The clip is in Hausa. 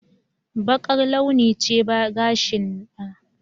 Bakar launi ce gashin na